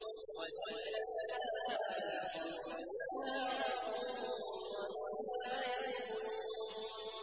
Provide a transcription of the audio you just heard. وَذَلَّلْنَاهَا لَهُمْ فَمِنْهَا رَكُوبُهُمْ وَمِنْهَا يَأْكُلُونَ